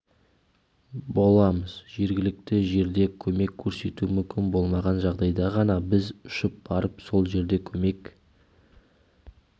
боламыз жергілікті жерде көмек көрсету мүмкін болмаған жағдайда ғана біз ұшып барып сол жерде көмек